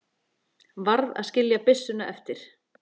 Varð að skilja byssuna eftir.